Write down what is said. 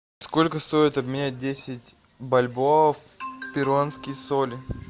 сколько стоит обменять десять бальбоа в перуанские соли